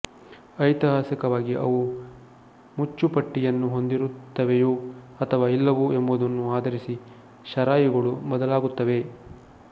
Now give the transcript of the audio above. ಐತಿಹಾಸಿಕವಾಗಿ ಅವು ಮುಚ್ಚುಪಟ್ಟಿಯನ್ನು ಹೊಂದಿರುತ್ತವೆಯೊ ಅಥವಾ ಇಲ್ಲವೊ ಎಂಬುದನ್ನು ಆಧರಿಸಿ ಷರಾಯಿಗಳು ಬದಲಾಗುತ್ತವೆ